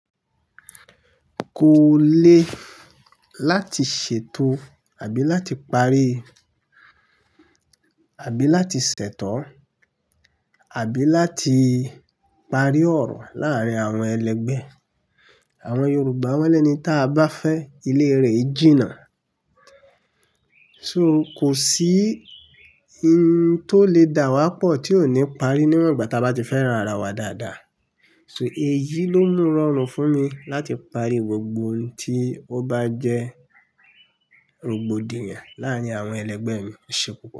Kò le láti ṣètò àbí láti parí, àbí láti ṣẹtọ, àbí láti parí ọ̀rọ̀ láàárín àwọn ẹlẹgbẹ́. Àwọn Yorùbá wọ́n lẹ́ni táa bá fẹ́ ilé rẹ̀ i jí nà. So kòsí ohun tó lè dà wá pọ̀ tí ò ní parí níwọ̀n ìgbà tí a bá ti fẹ́ran ara wa dáadáa. So èyí ló mú rọrùn fún mi láti parí gbogbo ohun tí ó bá jẹ́ rògbòdìyàn láàrín àwọn ẹlẹgbẹ́ mi, ẹṣe pupọ̀.